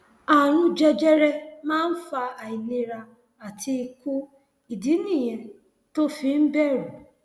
ààrùn jẹjẹrẹ máa ń fa àìlera àti ikú ìdí nìyẹn tó o fi ń bẹrù